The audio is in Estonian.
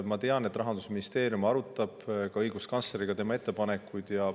Ma tean, et Rahandusministeerium arutab õiguskantsleriga tema ettepanekuid.